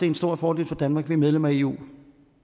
en stor fordel for danmark at vi er medlem af eu